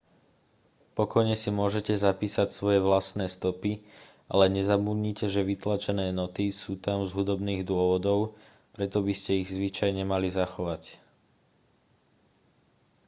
pokojne si môžete zapísať svoje vlastné stopy ale nezabudnite že vytlačené noty sú tam z hudobných dôvodov preto by ste ich zvyčajne mali zachovať